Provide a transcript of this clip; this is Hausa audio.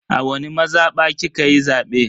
A wani mazaba kikayi zabe?